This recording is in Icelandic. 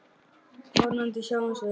Vonandi sjáumst við.